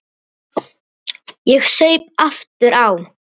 Ég saup aftur á.